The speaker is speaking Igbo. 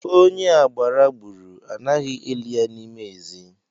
Onye agbara gburu, anaghị eli ya n'ime ezi